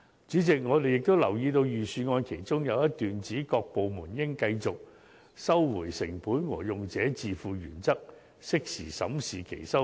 主席，我們亦留意到預算案其中有一段指，"各部門應繼續按'收回成本'和'用者自付'原則，適時審視其收費。